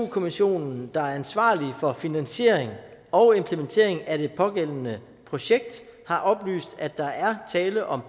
kommissionen der er ansvarlig for finansiering og implementering af det pågældende projekt har oplyst at der er tale om